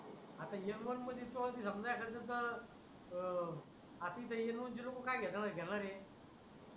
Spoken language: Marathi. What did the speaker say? एम वन पुन्हा एखाद्याचा आपल्या दैनंदिन जीवनात काय घेता माहिती का